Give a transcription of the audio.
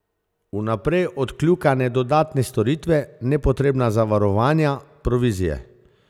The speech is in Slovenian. Vnaprej odkljukane dodatne storitve, nepotrebna zavarovanja, provizije...